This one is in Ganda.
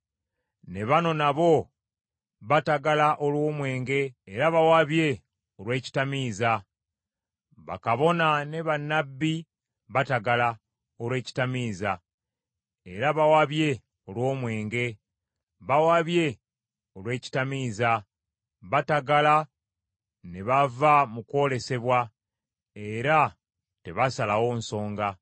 Ne bano nabo batagala olw’omwenge, era bawabye olw’ekitamiiza; Bakabona ne bannabbi batagala olw’ekitamiiza, era bawabye olw’omwenge; bawabye olw’ekitamiiza, batagala ne bava mu kwolesebwa, era tebasalawo nsonga.